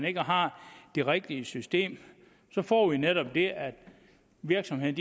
ikke har det rigtige system så får vi netop det at virksomheden